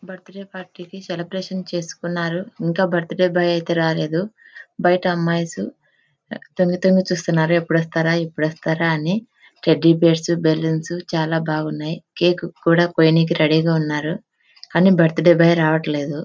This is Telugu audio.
బర్త్డే పార్టీ కి సెలబ్రేషన్ చేసుకున్నారుఇంకా బర్త్డే బాయ్ అయితే రాలేదుబైట అమ్మయ్స్ తొగి తొగి చుస్తునారు ఎప్పుడు వస్తారా ఎప్పుడు వస్తారా అని టెడ్డి బీర్స్ బలౌన్స్ చాల బాగున్నాయ్ కేక్ కూడా కోయడానికి రెడీ గ ఉన్నాయ్ కానీ బర్త్డే బాయ్ రావటలేదు.